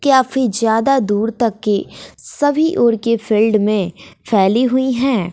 काफी ज्यादा दूर तक की सभी उर के फील्ड में फैली हुई है।